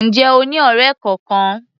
Ǹjẹ́ o ní ọ̀rẹ́ kọkan?